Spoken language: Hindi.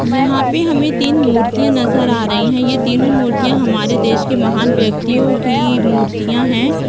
यहाँ पे हमे तीन मुर्तिया नज़र आ रही है ये तीनो मुर्तिया हमारे देश के महान व्यक्तियो की मुर्तिया है।